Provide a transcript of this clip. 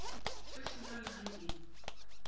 se sena le ge e